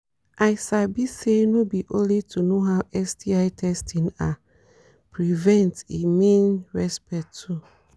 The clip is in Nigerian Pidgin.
i sabi say no be only to know how sti testing are prevent e mean respect too